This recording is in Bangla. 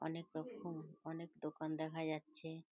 অনেকরকম অনেক দোকান দেখা যাচ্ছে।